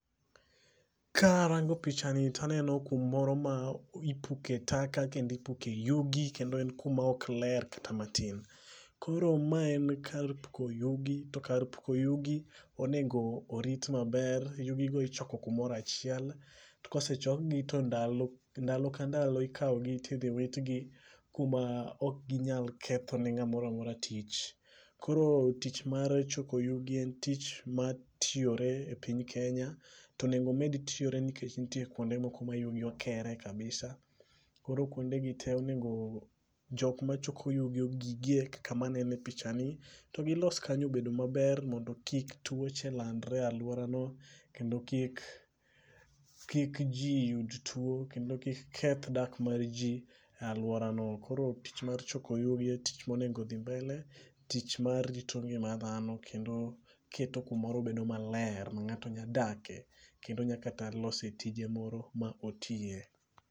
Karango pichani taneno kumoro ma ipuke taka kendi puke yugi kendo en kuma ok ler kata matin. Koro ma en kar puko yugi to kar puko yugi onego orit maber. Yugi go ichoko kumoro achiel kosechokgi to ndalo ndalo ka ndalo idhi witgi kuma ok ginyal kethone ng'a moramora tich .Koro tich mar choko yugi en tich matiyore e piny kenya to onego omed tiyore nikech ntie kuonde moko ma yugi keyore kabisa. Koro kuonde gi te onego jok machoko yugi ogigie kaka manene pichani to gilo kanyo obed maler mondo kik tuo cha landre e aluora no kendo kik kik jii yud tuok kendo kik keth dak mar jii e aluorano. Koro tich mar choko yugi en tich monego dhi mbele tich marito ngima dhano kendo keto kumoro bedo maler ma ng'ato nya dake kendo nya lose tije moro ma otiye.